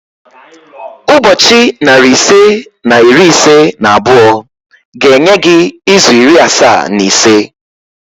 Ụbọchị narị ise na iri ise na abụọ ga-enye gị izu iri asaa na ise